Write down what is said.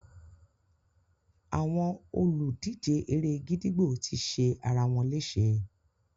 Àwọn olùdíje eré-gídígbò ti ṣe ara wọn léṣe.